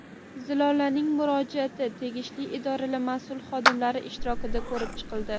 Zilolaning murojaati tegishli idoralar mas’ul xodimlari ishtirokida ko‘rib chiqildi.